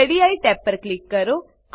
ready tab પર click કરો